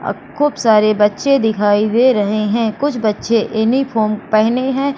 और खूब सारे बच्चे दिखाई दे रहे हैं कुछ बच्चे यूनिफार्म पहने हैं।